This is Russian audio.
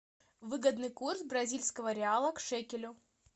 выгодный курс бразильского реала к шекелю